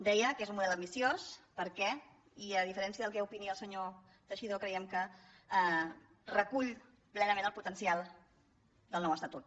deia que és un model ambiciós perquè i a diferència del que opini el senyor teixidó creiem que recull ple·nament el potencial del nou estatut